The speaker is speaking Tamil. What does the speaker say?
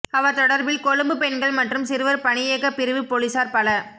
அவர் தொடர்பில் கொழும்பு பெண்கள் மற்றும் சிறுவர் பணியக பிரிவு பொலிசார் பல